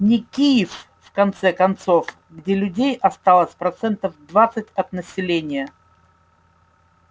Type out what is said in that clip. не киев в конце концов где людей осталось процентов двадцать от населения